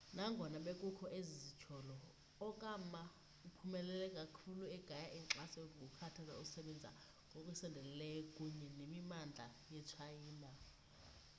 nangona bekukho ezi zityholo okama uphumelele kakhulu egaya inkxaso ngokukhuthaza ukusebenza ngokusondeleyo kunye nemimandla yetshayina